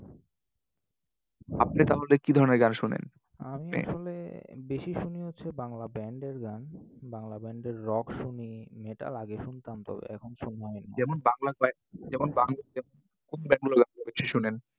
আপনি তাহলে কি ধরণের গান শোনেন? আমি আসলে বেশি শুনি হচ্ছে বাংলা band এর গান। বাংলা band এর rock শুনি, metal আগে শুনতাম তো, এখন সময় হয়না। যেমন শোনেন